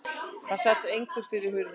Það sat einhver fyrir hurðinni.